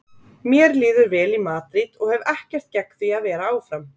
Mér líður vel í Madríd og hef ekkert gegn því að vera áfram.